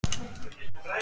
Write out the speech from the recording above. Til orustu!